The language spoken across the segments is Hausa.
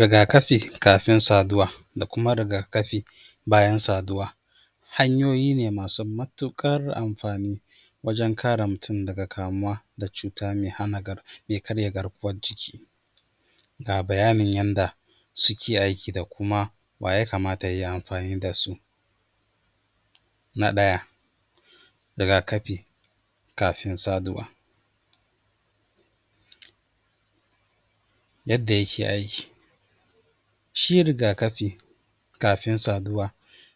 Riga-kafi kafin saduwa da kuma riga-kafi bayan saduwa. Hanyoyi ne masu matuƙar amfani wajen kare mutum daga kamuwa da cuta mai hana gar...mai karya garkuwar jiki. Ga bayanin yanda suke aiki da kuma wa ya kamata ya yi amfani da su Na ɗaya, rika-kafi kafin saduwa. Yadda yake aiki: Shi riga-kafi kafin saduwa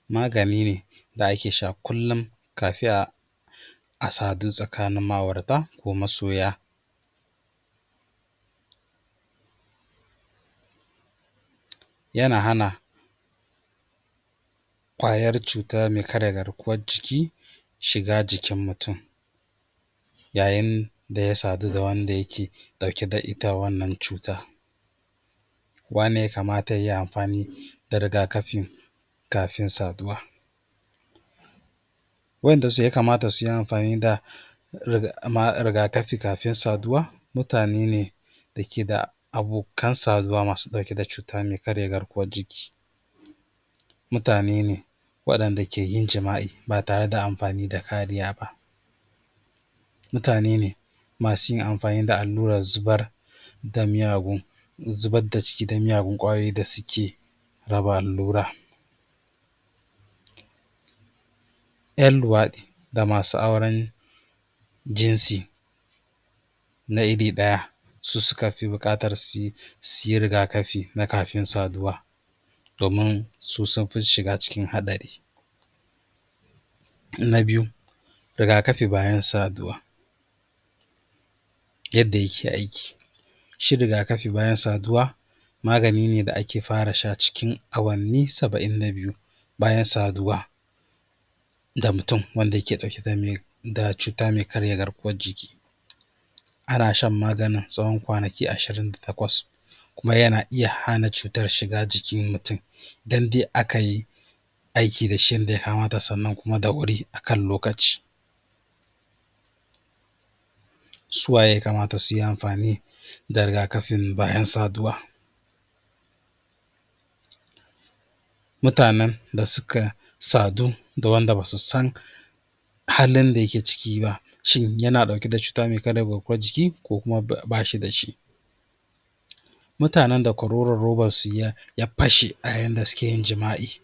magani ne da ake sha kullum kafin a sadu tsakanin ma'aurata ko masoya. Yana hana ƙwayar cuta mai karya garkuwar jiki shiga jikin mutum yayin da ya sadu da wanda yake ɗauke da ita wannan cutan. Waye ne ya kamata ya yi amfani da riga-kafin kafin saduwa? Waɗanda ya kamata su yi amfani da um riga-kafi kafin saduwa mutane ne da ke da abokan saduwa masu ɗauke da cuta mai karya garkuwar jiki. mutane ne waɗanda ke yin jima'i ba tare da amfani da kariya ba. Mutane ne masu yin amfani da allurar zubar da miyagun, zubar da ciki da miyagun ƙwayoyi da suke raba allura ƴan luwaɗi da masu auren jinsi. na iri ɗaya su suka fi buƙatar su yi, su yi riga-kafi na kafin saduwa domin su sun fi shiga cikin haɗari Na biyu, riga-kafi bayan saduwa. Yadda yake aiki: Shi riga-kafi bayan saduwa magani ne da ake fara sha cikin awanni saba'in da biyu bayan saduwa da mutum wanda yake ɗauke da mai cuta mai karya garkuwar jiki. Ana shan maganin tsawon kwanaki ashirin da takwas kuma yana iya hana cutar shiga jikin mutum dan dai aka yi aiki da shi yanda ya kamata sannan kuma da wuri a kan lokaci. Su waye ya kamata su yi amfani da riga-kafin bayan saduwa? Mutanen da suka sadu da wanda ba su san halin da yake ciki ba: Shin yana ɗauke da cuta mai karya garkuwar jiki ko kuma ba shi da shi? Mutanen da kwaroron robarsu ya fashe a yayin da suke yin jima'i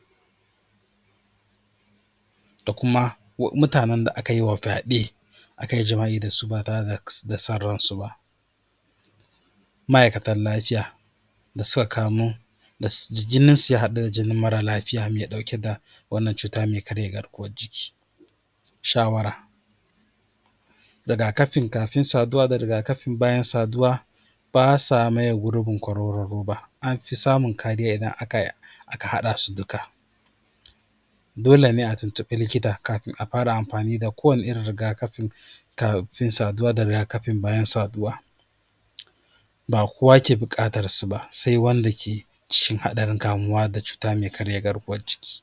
da kuma mutanen da aka yi wa fyaɗe, aka yi jima'i da su ba tare da son ransu ba. Ma'aikatan lafiya da suka kamu da jininsu ya haɗu da jinin marar lafiya mai ɗauke da wannan cuta mai karya garkuwar jiki. Shawara: Riga-kafin kafin saduwa da riga-kafin bayan saduwa ba sa maye gurbin kwaroron roba. An fi samun kariya idan aka yi aka haɗa su duka Dole ne a tuntuɓi likita kafin a fara amfani da kowane irin riga-kafin kafin saduwa da riga-kafin bayan saduwa. Ba kowa ke buƙatarsu ba sai wanda ke cikin haɗarin kamuwa da cuta mai karya garkuwar jiki.